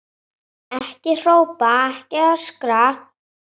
Ekki hrópa, ekki öskra!